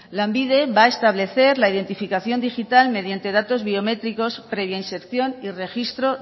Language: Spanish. lanbide va a establecer la identificación digital mediante datos biométricos previa inserción y registro